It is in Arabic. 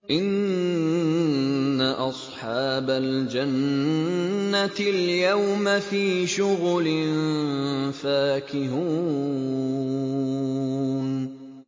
إِنَّ أَصْحَابَ الْجَنَّةِ الْيَوْمَ فِي شُغُلٍ فَاكِهُونَ